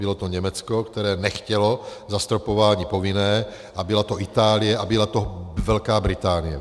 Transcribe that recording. Bylo to Německo, které nechtělo zastropování povinné, a byla to Itálie a byla to Velká Británie.